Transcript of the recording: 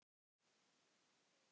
Hann gaus